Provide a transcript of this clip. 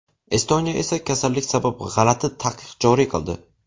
Estoniya esa kasallik sabab g‘alati taqiq joriy qildi.